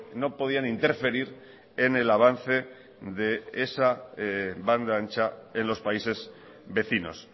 no podían interferir en el avance de esa banda ancha en los países vecinos